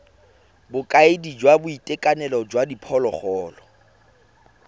bokaedi jwa boitekanelo jwa diphologolo